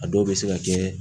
A dɔw bɛ se ka kɛ